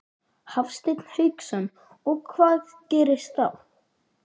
Hafsteinn Hauksson: Og hvað gerist þá?